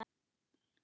Af hverju beikon?